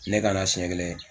Ne ka na senɲɛ kelen